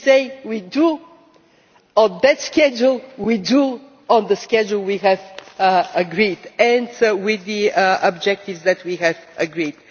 If we say we drew on that schedule, we drew on the schedule we have agreed and with the objectives that we have agreed.